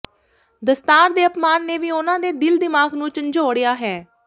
ਦਸਤਾਰ ਦੇ ਅਪਮਾਨ ਨੇ ਵੀ ਉਹਨਾਂ ਦੇ ਦਿਲ ਦਿਮਾਗ ਨੂੰ ਝੰਜੋੜਿਆ ਹੈ